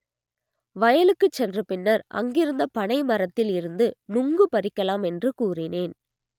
வயலுக்கு சென்ற பின்னர் அங்கிருந்த பனை மரத்தில் இருந்து நுங்கு பறிக்கலாம் என்று கூறினேன்